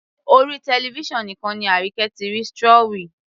Orí television nìkan ni Arike ti rí strawy